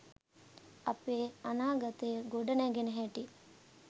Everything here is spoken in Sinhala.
අපේ අනාගතය ගොඩනැ‍ගෙන හැටි